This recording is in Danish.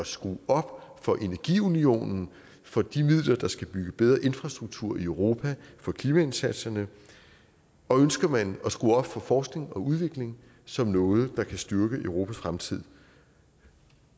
skrue op for energiunionen for de midler der skal bygge bedre infrastruktur i europa for klimaindsatserne og ønsker man at skrue op for forskning og udvikling som noget der kan styrke europas fremtid